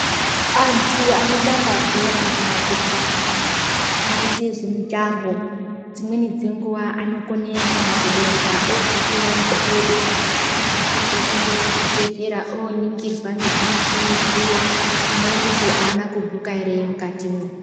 Antu anotambe bhora kana kuti anoite zvemujaho dzimweni dzenguva anokone kana kudonda oguke kana makodo anosisirwe kuenda kana kuzvibhedhleya